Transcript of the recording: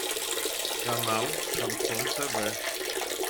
канал шансон тв